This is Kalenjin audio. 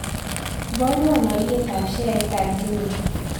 Iboruon alyetap sheaitap jumia